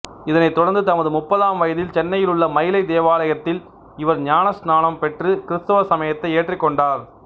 இதனைத் தொடர்ந்து தமது முப்பதாம் வயதில் சென்னையிலுள்ள மயிலைத் தேவாலயத்தில் இவர் ஞானஸ்நானம் பெற்றுக் கிருத்துவ சமயத்தை ஏற்றுக்கொண்டார்